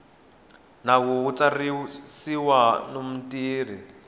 nawu wa ntsariso wa mintirho